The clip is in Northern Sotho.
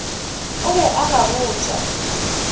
o be a ba botša